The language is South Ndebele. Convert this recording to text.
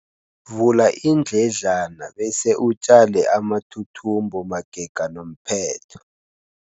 Vula iindledlana bese utjale amathuthumbo magega nomphetho.